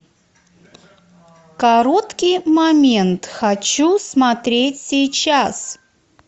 короткий момент хочу смотреть сейчас